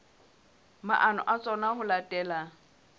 maano a tsona ho latela